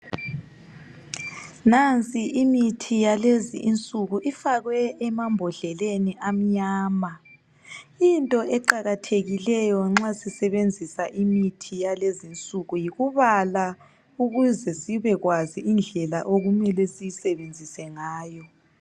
Nansi imithi yakulezi insuku ifakwe emambodleleni amnyama. Into eqakathekileyo nxa sisebenzisa imithi yakulezi insuku yikubala ukuze sibekwazi indlela okumele siyisebenzise ngayo.